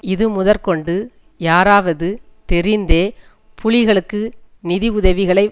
இதுமுதற்கொண்டு யாராவது தெரிந்தே புலிகளுக்கு நிதி உதவிகளை